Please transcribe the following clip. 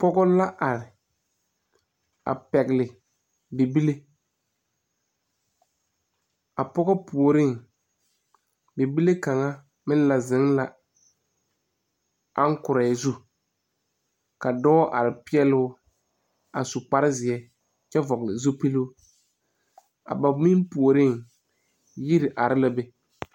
Pɔgɔ la are a pɛgle bibile a pɔgɔ puoriŋ bibile kaŋa meŋ la zeŋ la angkrɔɛɛ zu ka dɔɔ are peɛɛloo a su kparezeɛ kyɛ vɔgle zupiluu a ba meŋ puoriŋ yiri are la be.